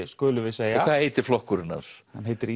skulum við segja hvað heitir flokkurinn hans hann heitir